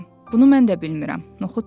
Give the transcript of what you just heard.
Bunu mən də bilmirəm, noxud dedi.